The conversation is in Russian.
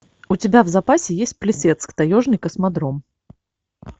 у тебя в запасе есть плесецк таежный космодром